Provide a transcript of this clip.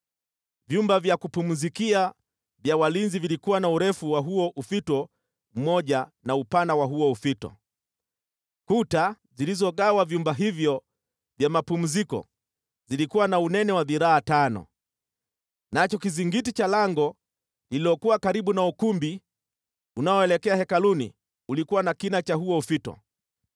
Vyumba vya kupumzikia vya walinzi vilikuwa na urefu wa huo ufito mmoja na upana wa huo ufito, kuta zilizogawa vyumba hivyo vya mapumziko zilikuwa na unene wa dhiraa tano. Nacho kizingiti cha lango lililokuwa karibu na ukumbi unaoelekea hekaluni ulikuwa na kina cha huo ufito.